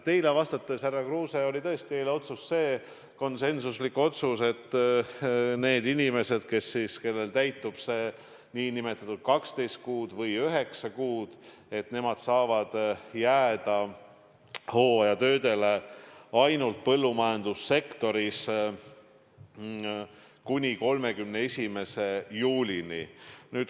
Teile vastates, härra Kruuse: oli tõesti eile konsensuslik otsus, et need inimesed, kellel täitub 12 kuud või 9 kuud, saavad jääda hooajatöödele ainult põllumajandussektoris ja kuni 31. juulini.